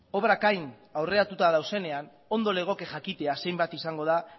obrak hain aurreratuta daudenean ondo legoke jakitea zenbat izango den